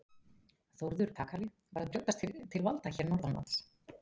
Þórður kakali var að brjótast til valda hér norðanlands.